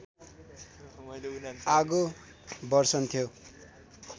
आगो बर्सन्थ्यो।